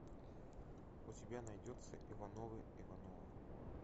у тебя найдется ивановы ивановы